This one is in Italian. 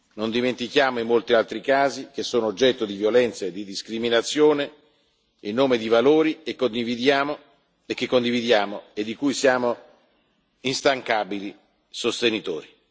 Non dimentichiamo i molti altri casi che sono oggetto di violenza e di discriminazione in nome di valori che condividiamo e di cui siamo instancabili sostenitori.